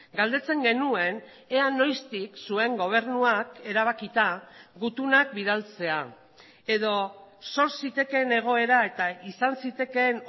galdetzen genuen ea noiztik zuen gobernuak erabakita gutunak bidaltzea edo sor zitekeen egoera eta izan zitekeen